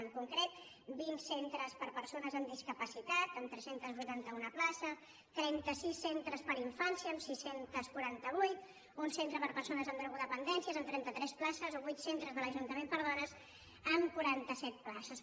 en concret vint centres per a persones amb discapacitat amb tres cents i vuitanta un places trenta sis centres per a in·fància amb sis cents i quaranta vuit un centre per a persones amb drogo·dependències amb trenta tres places o vuit centres de l’ajunta·ment per a dones amb quaranta set places